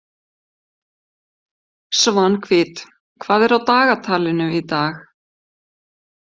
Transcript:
Svanhvít, hvað er á dagatalinu í dag?